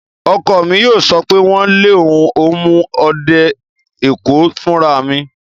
Ọkọ mi yóò sọ pé, "wọ lé, un ó mú ọ dé Èkó fúnra mi!"